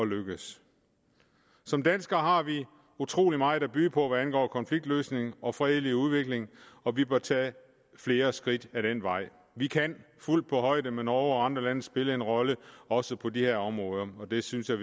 lykkes som danskere har vi utrolig meget at byde på hvad angår konfliktløsning og fredelig udvikling og vi bør tage flere skridt ad den vej vi kan fuldt på højde med norge og andre lande spille en rolle også på de her områder og det synes jeg